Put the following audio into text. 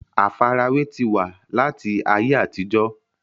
àfarawé ti wà láti ayé àtijọ́